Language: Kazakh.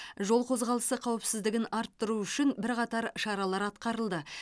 жол қозғалысы қауіпсіздігін арттыру үшін бірқатар шаралар атқарылды